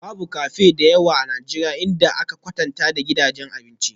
Babu cafe da yawa a Najeriya idan aka kwatanta da gidajen abinci